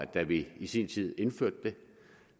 da vi i sin tid indførte det